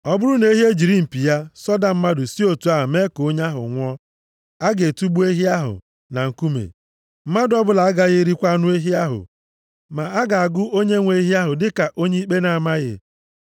“Ọ bụrụ na ehi ejiri mpi ya sọda mmadụ si otu a mee ka onye ahụ nwụọ, a ga-atụgbu ehi ahụ na nkume. Mmadụ ọbụla agaghị erikwa anụ ehi ahụ. Ma a ga-agụ onyenwe ehi ahụ dịka onye ikpe na-amaghị.